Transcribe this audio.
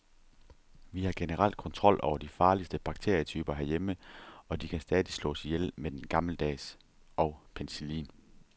Vi har generelt kontrol over de farligste bakterietyper herhjemme, og de kan stadig slås ihjel med den gammeldags og penicillin.